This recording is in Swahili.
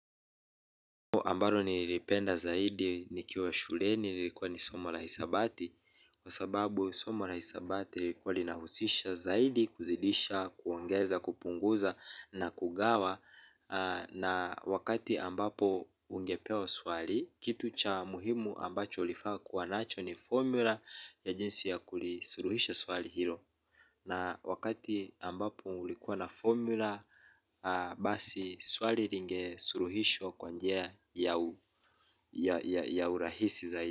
Ambalo nilipenda zaidi nikiwa shuleni ilikuwa ni somo la hisabati. Kwa sababu somo la hisabati ilikuwa linahusisha zaidi kuzidisha, kuongeza, kupunguza na kugawa. Na wakati ambapo ungepewa swali, kitu cha muhimu ambacho ulifaa kuwa nacho ni formula ya jinsi ya kulisuluhisha swali hilo. Na wakati ambapo ulikuwa na formula, basi swali linge suluhishwa kwa njia ya urahisi zaidi.